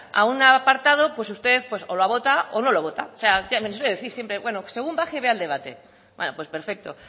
a un apartado pues usted pues o la vota o no lo vota bueno según baje y vea el debate bueno pues perfecto